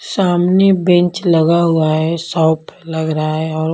सामने बेंच लगा हुआ है शॉप लग रहा है और--